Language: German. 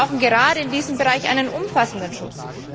Wir brauchen gerade in diesem Bereich einen umfassenden Schutz.